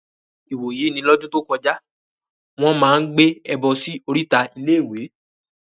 Ìwòyí ní lọ́dún tó kọjá, Wọ́n máa ń gbé ẹbọ sí oríta iléèwé